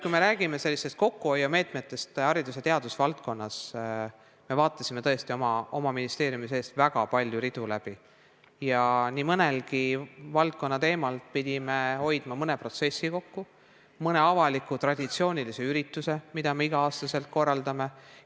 Kui räägime haridus- ja teadusvaldkonnas rakendatavatest kokkuhoiumeetmetest, siis me tõesti vaatasime oma ministeeriumi sees läbi väga palju ridu ja nii mõneski valdkonnas pidime hoidma kokku mõne protsessi pealt, näiteks jätma ära mõne avaliku traditsioonilise ürituse, mida oleme igal aastal korraldanud.